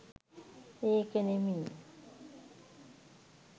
ඒක නෙමෙයි.